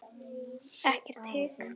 Ekkert hik.